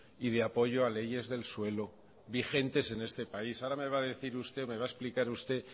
y de apoyo a leyes del suelo vigentes en este país ahora me va a decir usted o me va a explicar usted